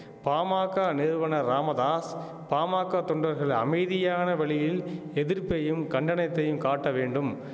பாமாக்க நிறுவனர் ராமதாஸ் பாமாக்க தொண்டர்கள் அமைதியான வழியில் எதிர்ப்பையும் கண்டனத்தையும் காட்ட வேண்டும்